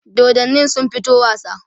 dodannin sun fito wasa?